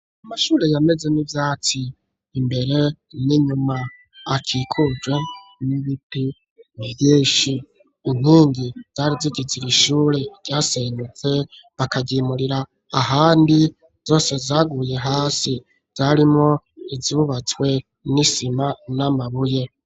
Amashuri yameze n'ivyatsi. Imbere n'inyuma akikujwe n'ibiti vyinshi. Inkingi zari zigize iri shure ryasenyutse bakagimurira ahandi, zose zaguye hasi yarimwo iyubatswe n'isima n'amabuye.